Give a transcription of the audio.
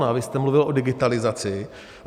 No a vy jste mluvil o digitalizaci.